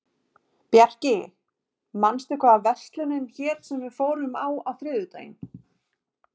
Bjarki, manstu hvað verslunin hét sem við fórum í á þriðjudaginn?